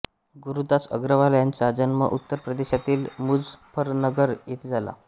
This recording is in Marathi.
गुरुदास अग्रवाल ह्यांचा जन्म उत्तरप्रदेशातील मुझप्फरनगर येथे झाला